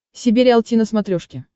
себе риалти на смотрешке